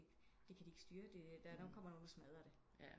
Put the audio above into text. Det kan de ikke styre der nok kommer nogen og smadrer det